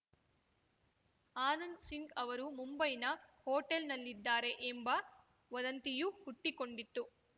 ಆನಂದ್‌ ಸಿಂಗ್‌ ಅವರು ಮುಂಬೈನ ಹೋಟೆಲ್‌ನಲ್ಲಿದ್ದಾರೆ ಎಂಬ ವದಂತಿಯೂ ಹುಟ್ಟಿಕೊಂಡಿತ್ತು